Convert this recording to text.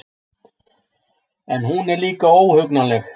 En hún er líka óhugnanleg.